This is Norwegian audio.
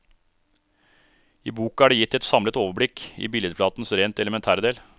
I boka er det gitt et samlet overblikk i billedflatens rent elementære del.